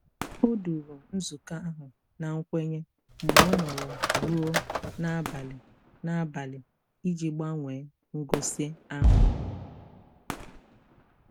Ọ duru nzukọ ahụ na nkwenye mgbe ọ nọrọ ruo n'abalị n'abalị iji gbanwee ngosi ahụ.